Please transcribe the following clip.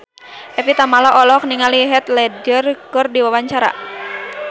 Evie Tamala olohok ningali Heath Ledger keur diwawancara